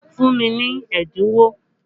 Fún mi ní ẹ́dínwó!